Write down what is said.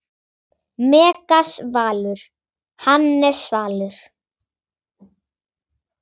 Megas Valur, Hannes Svalur.